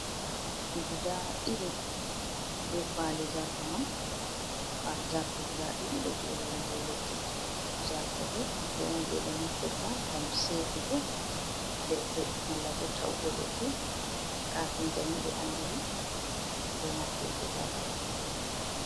Gudaa dilii, ɓee kawali zarto man. Kawali Zarto guɗaa ɗiɗi ɗo jooɗi ha ɗow leɗɗi. Zarto ɓo kuje on je ɓe naftirta ngam seekugo leɗɗe, malla ɓo ta’ugo leɗɗe. Kafinta’en ɓe anɗiri ɓe naftirgo zarto.